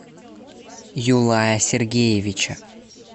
юлая сергеевича